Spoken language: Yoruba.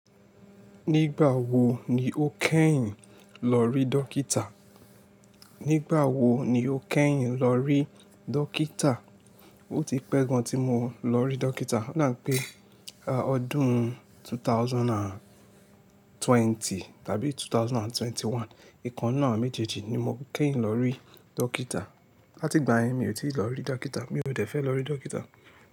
Nígbà wo ni o kẹ́yìn lọ rí dókítà? Nígbà wo ni o kẹ́yìn lọ rí dókítà? O ti pẹ́ gan tí mo lọ rí dókítà. Ó dà pé ọdún 2020 tàbí 2021, ìkan náà méjèèjì ni mo kẹ́yìn lọ rí dókítà. Láti ìgbà yẹn mi ò tí ì lọ rí dókítà, mi ò dẹ fẹ́ lọ rí dókítà.